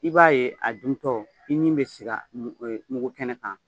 I b'a ye a duntɔ i ɲin bɛ sig'a mug mugu kɛnɛ kan.